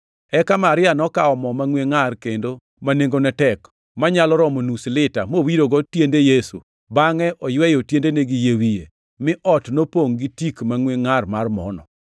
Eka Maria nokawo mo mangʼwe ngʼar kendo ma nengone tek, manyalo romo nus lita, mowirogo tiende Yesu, bangʼe oyweyo tiendene gi yie wiye. Mi ot nopongʼ gi tik mangʼwe ngʼar mar mono.